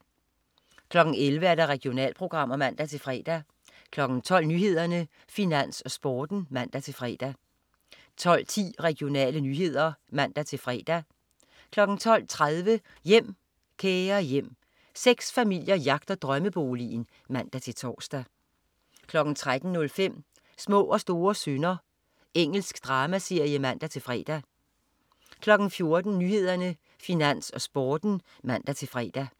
11.00 Regionalprogrammer (man-fre) 12.00 Nyhederne, Finans, Sporten (man-fre) 12.10 Regionale nyheder (man-fre) 12.30 Hjem, kære hjem. Seks familier jagter drømmeboligen (man-tors) 13.05 Små og store synder. Engelsk dramaserie (man-fre) 14.00 Nyhederne, Finans, Sporten (man-fre)